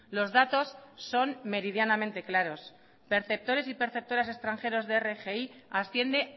los datos son meridianamente claros perceptores y perceptoras extranjeros de rgi asciende